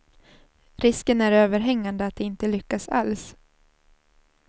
Risken är överhängade att det inte lyckas alls.